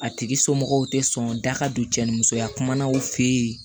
A tigi somɔgɔw tɛ sɔn da ka don cɛnimusoya kumana u fɛ yen